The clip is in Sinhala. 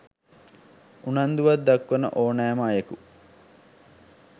උනන්දුවක් දක්වන ඹ්නෑම අයකු